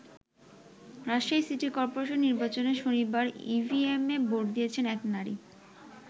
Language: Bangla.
রাজশাহী সিটি কর্পোরেশন নির্বাচনে শনিবার ইভিএমে ভোট দিচ্ছেন এক নারী।